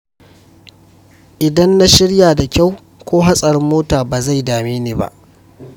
Idan na shirya da kyau, ko hatsarin mota ba zai dame ni ba.